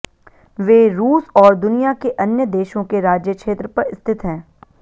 वे रूस और दुनिया के अन्य देशों के राज्य क्षेत्र पर स्थित हैं